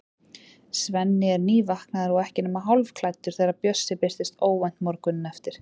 Svenni er nývaknaður og ekki nema hálfklæddur þegar Bjössi birtist óvænt morguninn eftir.